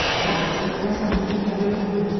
Ara, deyəsən bu türk hələ ölməyib.